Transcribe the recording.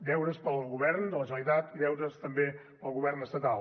deures per al govern de la generalitat i deures també per al govern estatal